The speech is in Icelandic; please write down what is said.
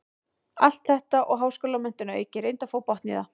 Allt þetta og háskólamenntun að auki, reyndu að fá botn í það.